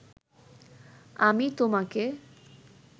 আমি তোমাকে